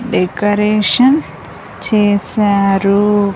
Decoration చేశారు.